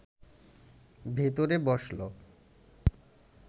ভেতরে বসল